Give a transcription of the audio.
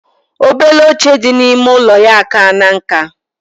Obele oche di na ime ụlọya akana nka.